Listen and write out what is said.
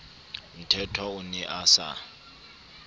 mthethwa o ne a sa